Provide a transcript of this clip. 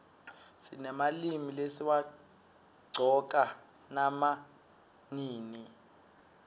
sinemalimi lesiwaqcoka nama nini